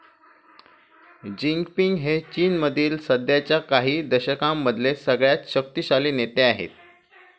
Jinping हे चीनमधले सध्याच्या काही दशकांमधले सगळ्यात शक्तीशाली नेते आहेत.